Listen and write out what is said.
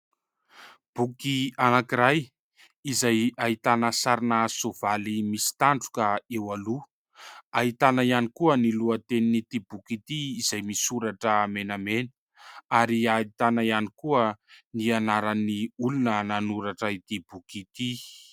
Boky anankiray izay ahitana sarina soavaly misy tandroka eo aloha, ahitana ihany koa ny lohatenin'ity boky ity izay misoratra menamena ary ahitana ihany koa ny anaran'ny olona nanoratra ity boky ity.